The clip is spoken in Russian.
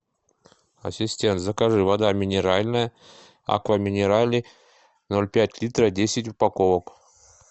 ассистент закажи вода минеральная аква минерале ноль пять литров десять упаковок